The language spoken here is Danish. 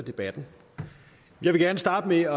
debatten jeg vil gerne starte med